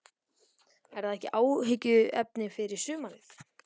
Er það ekki áhyggjuefni fyrir sumarið?